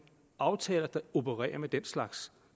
aftaler der opererer med den slags